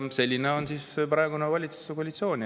Selline on praegune valitsuskoalitsioon.